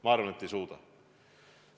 Ma arvan, et ei suuda.